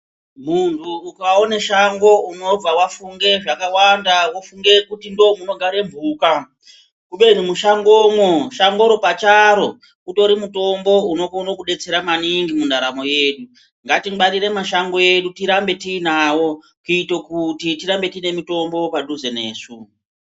Muntu ukawone shango unobva wafunge zvakawanda, wofunge kuti ndomunogare mphuka. Kubeni mushangomo, shango iro pacharo utorimutombo unokhone kudetsera maningi mundaramo yenyu. Ngati ngwarire mashangi edu tirambe tinawo kuita kuti tirambe tinamutombo padhuze nesu.